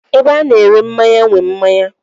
Ebe a na-ere mmanya nwe mmanya.